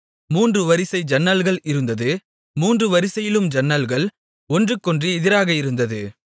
மூன்று வரிசை ஜன்னல்கள் இருந்தது மூன்று வரிசையிலும் ஜன்னல்கள் ஒன்றுக்கொன்று எதிராக இருந்தது